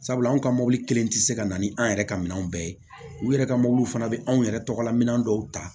Sabula anw ka mɔbili kelen tɛ se ka na ni an yɛrɛ ka minɛnw bɛɛ ye u yɛrɛ ka mɔbili fana bɛ anw yɛrɛ tɔgɔla minɛn dɔw ta